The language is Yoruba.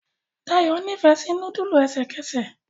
Dayo n'ifẹ sí nudulu ẹsẹkẹsẹ.